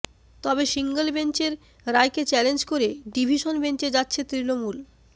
তবে সিঙ্গল বেঞ্চের রায়কে চ্যালেঞ্জ করে ডিভিশন বেঞ্চে যাচ্ছে তৃণমূল